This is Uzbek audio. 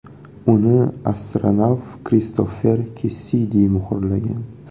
Uni astronavt Kristofer Kessidi muhrlagan.